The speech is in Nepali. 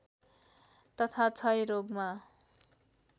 तथा क्षयरोगमा